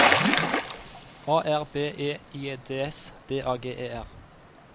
A R B E I D S D A G E R